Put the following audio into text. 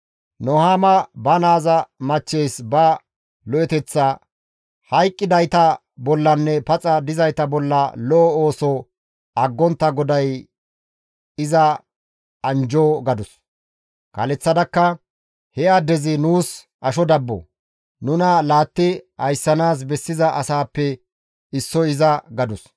Nuhaama ba naaza machcheys ba lo7eteththaa, «Hayqqidayta bollanne paxa dizayta bolla lo7o ooso aggontta GODAY iza anjjo» gadus. Kaaleththadakka, «He addezi nuus asho dabbo; nuna laatti ayssanaas bessiza asaappe issoy iza» gadus.